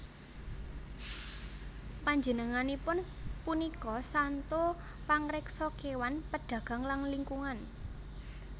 Panjenenganipun punika santo pangreksa kéwan pedagang lan lingkungan